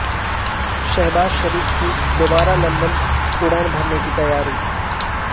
شہباز شریف کی دوبارہ لندن اڑان بھرنے کی تیاری